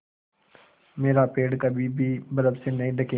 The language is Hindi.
मेरा पेड़ कभी भी बर्फ़ से नहीं ढकेगा